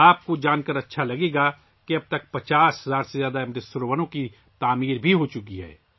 آپ کو یہ جان کر خوشی ہو گی کہ اب تک 50 ہزار سے زیادہ امرت سروور تعمیر ہو چکے ہیں